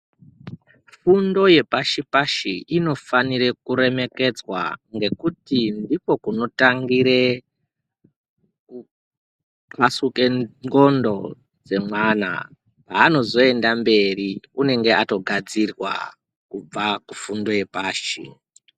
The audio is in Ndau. Fundo yepashi-pashi inofanire kuremekedzwa ngekuti ndikwo kunotangire kuxasuka ndhlondo dzemwana haanozoenda mberi unonga atogadzirwa kubva fundo kufundo yepashi.